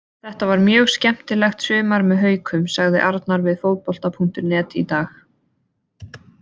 Þetta var mjög skemmtilegt sumar með Haukum, sagði Arnar við Fótbolta.net í dag.